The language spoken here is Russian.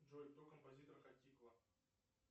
джой кто композитор хатико